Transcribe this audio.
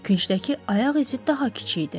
Küncdəki ayaq izi daha kiçik idi.